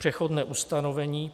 Přechodné ustanovení: